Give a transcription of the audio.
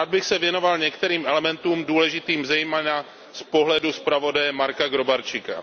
Rád bych se věnoval některým elementům důležitým zejména z pohledu zpravodaje Marka Gróbarczyka.